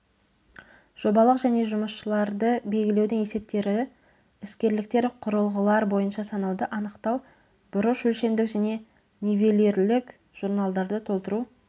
жобалық және жұмысшыларды белгілеудің есептері іскерліктер құрылғылар бойынша санауды анықтау бұрыш өлшемдік және нивелирлік журналдарды толтыру